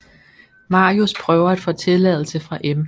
Marius prøver at få tilladelse fra M